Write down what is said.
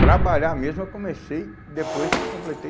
Trabalhar mesmo eu comecei depois que eu completei